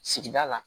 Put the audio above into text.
Sigida la